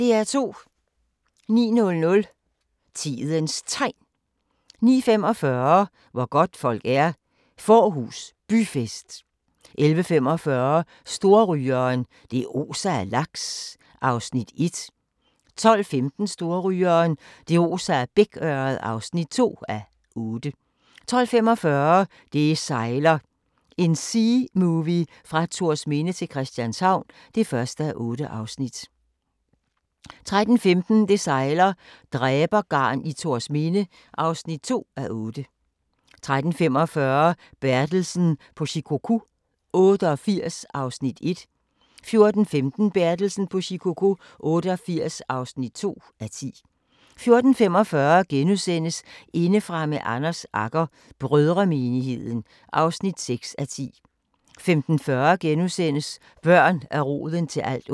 09:00: Tidens Tegn 09:45: Hvor godtfolk er – Fårhus Byfest 11:45: Storrygeren – det oser af laks (1:8) 12:15: Storrygeren – det oser af bækørred (2:8) 12:45: Det sejler – en seamovie fra Thorsminde til Christianshavn (1:8) 13:15: Det sejler - dræbergarn i Thorsminde (2:8) 13:45: Bertelsen på Shikoku 88 (1:10) 14:15: Bertelsen på Shikoku 88 (2:10) 14:45: Indefra med Anders Agger - brødremenigheden (8:10)* 15:40: Børn er roden til alt ondt *